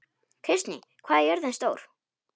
Kristný, hvað er jörðin stór?